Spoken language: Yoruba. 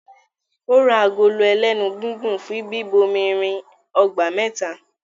Ó ra agolo ẹlénu gígùn fún bíbomirin ọgbà mẹ́ta